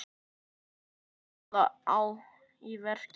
Hvernig tókst það í verki?